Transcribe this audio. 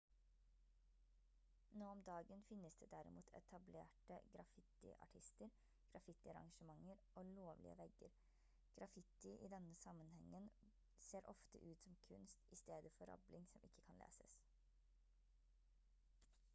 nå om dagen finnes det derimot etablerte graffitiartister graffitiarrangementer og «lovlige» vegger. graffiti i denne sammenhengen ser ofte ut som kunst i stedet for rabling som ikke kan leses